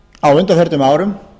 á undanförnum árum